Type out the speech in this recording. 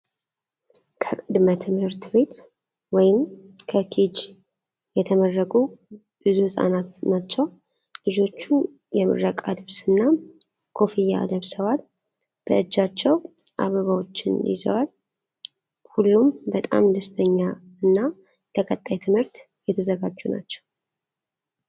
ከቅድመ ትምህርት ቤት (ከኬጅ) የተመረቁ ብዙ ህጻናትን ናቸው ። ልጆቹ የምረቃ ልብስና ኮፍያ ለብሰዋል ፤ በእጃቸውም አበባዎች ይዘዋል። ሁሉም በጣም ደስተኛ እና ለቀጣይ ትምህርት የተዘጋጁ ናቸው።